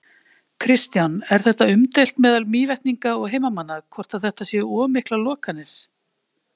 Kristján: Er þetta umdeilt meðal Mývetninga og heimamanna, hvort að þetta séu of miklar lokanir?